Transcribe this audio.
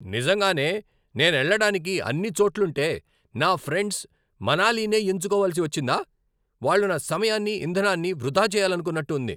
నిజంగానే, నేనెళ్ళడానికి అన్ని చోట్లుంటే నా ఫ్రెండ్స్ మనాలినే ఎంచుకోవలసి వచ్చిందా? వాళ్ళు నా సమయాన్ని, ఇంధనాన్ని వృధా చేయాలనుకున్నట్టు ఉంది!